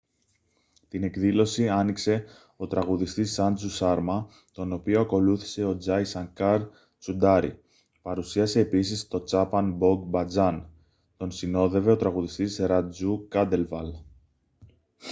την εκδήλωση άνοιξε ο τραγουδιστής σάντζου σάρμα τον οποίο ακολούθησε ο τζάι σανκάρ τσουντάρι παρουσίασε επίσης το τσάπαν μπογκ μπατζάν τον συνόδευε ο τραγουδιστής ρατζού κάντελβαλ